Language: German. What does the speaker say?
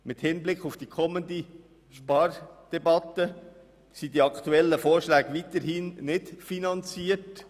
Mit Hinblick auf die kommende Spardebatte sind die aktuellen Vorschläge weiterhin nicht finanziert.